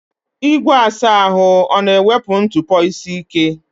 Igwe asa ahụ ọ na-ewepụ ntụpọ isi ike?